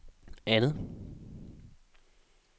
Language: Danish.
andet